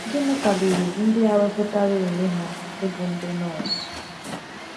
Gịnị kwaliri ndị a wepụtara onwe ha ịbụ ndị nọọsụ?